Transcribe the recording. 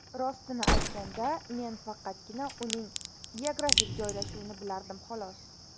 Rostini aytganda, men faqatgina uning geografik joylashuvini bilardim, xolos.